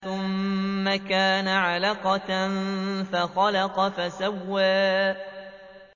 ثُمَّ كَانَ عَلَقَةً فَخَلَقَ فَسَوَّىٰ